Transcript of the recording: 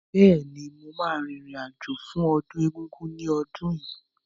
Bẹ́ẹ̀ni, mo ma rìn rìn àjò fún ọdún Egúngún ní ọdún yìí